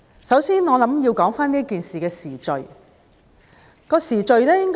首先，我認為要說說這件事的時序。